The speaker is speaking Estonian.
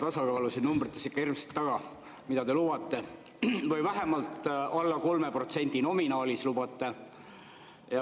Ma ajan siin numbrites ikka hirmsasti taga seda eelarvetasakaalu, mida te lubate, vähemalt alla 3% nominaalis lubate.